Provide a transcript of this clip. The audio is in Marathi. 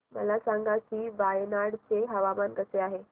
मला सांगा की वायनाड चे हवामान कसे आहे